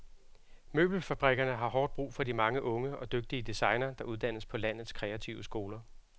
Møbelfabrikkerne har hårdt brug for de mange unge og dygtige designere, der uddannes på landets kreative skoler.